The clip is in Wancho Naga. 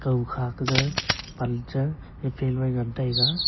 dao kha kaje pal cha ngan taiga.